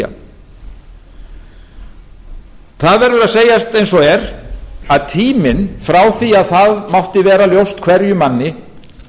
það verður að segjast eins og er að tíminn frá því að þetta mátti vera ljóst hverjum manni